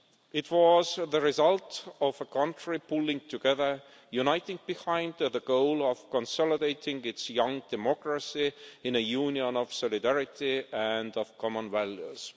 It was the result of a country pulling together, uniting behind the goal of consolidating its young democracy in a union of solidarity and common values.